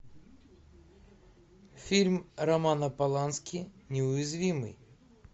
фильм романа полански неуязвимый